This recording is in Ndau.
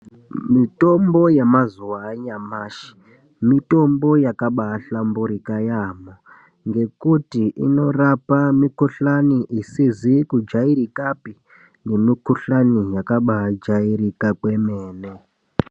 Mitombo yemazuva anyamashi mitombo yakabahlamburika yambo ngekuti inorapa mikuhlani isizi kujairikapi nemikuhlani yakabajairika kwemene.